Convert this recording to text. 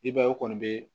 I b'a ye u kɔni bɛ